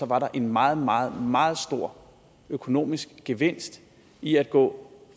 var der en meget meget meget stor økonomisk gevinst i at gå